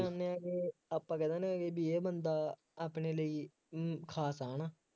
ਜਾਂਦੇ ਹਾਂ ਕਿ ਆਪਾਂ ਕਹਿ ਦਿੰਦੇ ਹਾਂ ਬਈ ਇਹ ਬੰਦਾ ਆਪਣੇ ਲਈ ਅਮ ਖਾਸ ਆ, ਹੈ ਨਾ